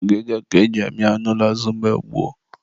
ngịga ka e ji amị anụ na azụ mgbe gboo.